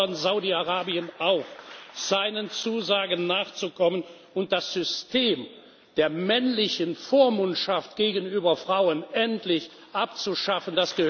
Und wir fordern Saudi Arabien auf, seinen Zusagen nachzukommen und das System der männlichen Vormundschaft gegenüber Frauen endlich abzuschaffen.